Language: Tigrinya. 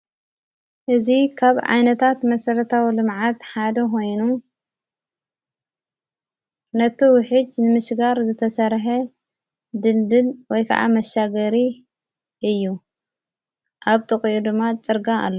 እዚ ካብ ዓይነታት መሠረታዊ ልምዓት ሓደ ኾይኑ ነቲ ውሒጅ ንምስጋር ዝተሠርሐ ድልድል ወይ ከዓ መሻገሪ እዩ፡፡ ኣብ ጥቕኡ ድማ ፅርጋያ ኣሎ፡፡